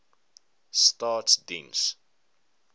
staatsdiens